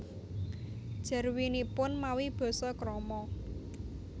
Jarwinipun mawi basa krama